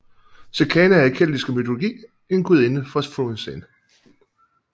Sequana er i keltiske mytologi en gudinde for floden Seine